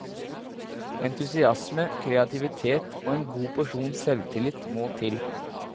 Entusiasme, kreativitet og en god porsjon selvtillit må til.